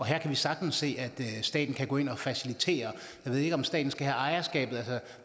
her kan vi sagtens se at staten kan gå ind og facilitere jeg ved ikke om staten skal have ejerskabet altså